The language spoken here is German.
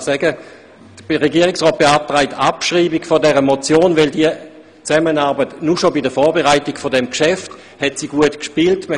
Der Regierungsrat beantragt die Abschreibung dieser Motionsziffer, weil diese Zusammenarbeit alleine schon bei der Vorbereitung dieses Geschäfts gut gespielt hat.